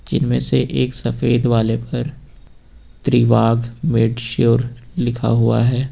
जिनमें से एक सफेद वाले पर त्रिवाग मेडश्योर लिखा हुआ है।